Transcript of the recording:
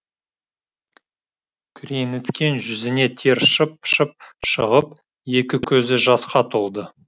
күреңіткен жүзіне тер шып шып шығып екі көзі жасқа толды